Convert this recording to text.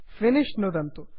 finish नुदन्तु